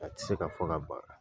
A tɛ se ka fɔ ka ban.